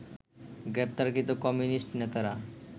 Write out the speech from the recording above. গ্রেপ্তারকৃত কমিউনিস্ট নেতারা